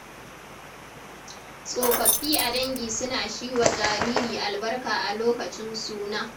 Tsofaffi a dangi suna shi wa jariri albarka a lokacin suna.